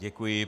Děkuji.